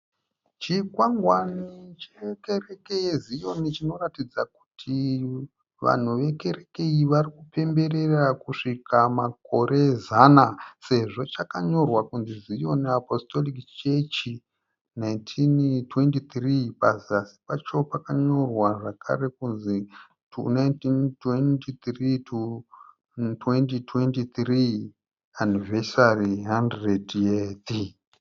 Chingwangwani chekereke yezion chinoratidza kuti vanhu vekereke iyi varikupemberera kusvika makore zana sezvo chakanyorwa kunzi Zion Apostolic Church 1923. Pazasi pacho pakanyorwa zvekare kunzi, "to 1923 to 2023 anniversary 100th."